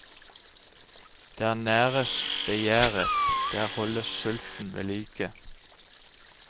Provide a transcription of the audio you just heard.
Der næres begjæret, der holdes sulten vedlike.